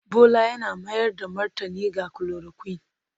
Bola yana mayar da martani ga chloroquine